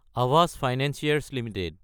Aavas financiers Ltd